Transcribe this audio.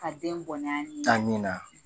A den bɔnɛ a ni na.